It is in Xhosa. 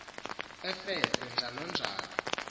efese njalo njalo